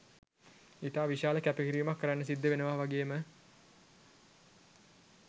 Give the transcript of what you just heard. ඉතා විශාල කැපකිරීමක් කරන්න සිද්ද වෙනව වගේම